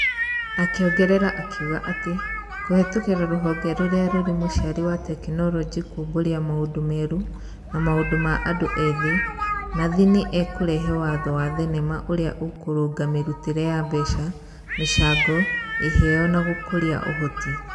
Akĩongerera akiuga atĩ, kũhĩtũkĩra rũhonge rũrĩa rũrĩ mũciari rwa tekinoronjĩ kuumbũrĩa maũndũ merũ na maũndũ ma andũ ethĩ Nathi nĩ ĩkũrehe watho wa thenema ũrĩa ũkũrũnga mĩrutĩre ya mbeca, mĩcango, iheo, na gũkũrĩa ũhoti.